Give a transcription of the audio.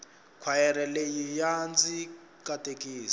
khwayere leyi ya ndzi katekisa